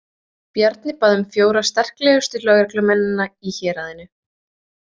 Bjarni bað um fjóra sterklegustu lögreglumennina í héraðinu.